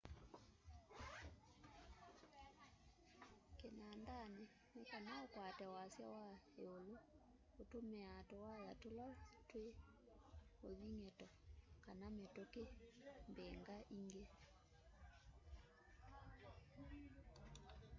kinandani nikana ukwate wasya wa iulu utumiaa tuwaya tula twi uthing'ito kana mituki mbingaingi